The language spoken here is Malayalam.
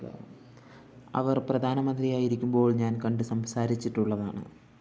അവര്‍ പ്രധാനമന്ത്രിയായിരിക്കുമ്പോള്‍ ഞാന്‍ കണ്ടു സംസാരിച്ചിട്ടുള്ളതാണ്